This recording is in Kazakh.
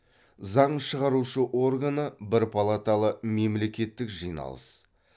заң шығарушы органы бір палаталы мемлекеттік жиналыс